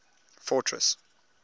fortress